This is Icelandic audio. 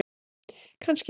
Kannski næst?